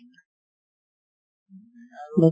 আৰু